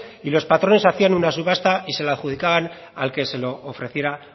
y los patrones hacían una subasta y se la adjudicaban al que se lo ofreciera